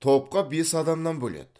топқа бес адамнан бөледі